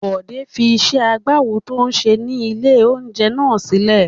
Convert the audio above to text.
Bọ̀dé fi iṣẹ́ agbáwo tó ń ṣe ní ilé-oúnjẹ náà sílẹ̀.